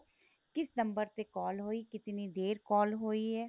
ਕਿਸ ਨੰਬਰ ਤੇ call ਹੋਈ ਕਿਤਨੀ ਦੇਰ call ਹੋਈ ਏ